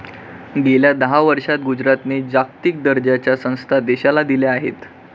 गेल्या दहा वर्षात गुजरातने जागतिक दर्जाच्या संस्था देशाला दिल्या आहेत.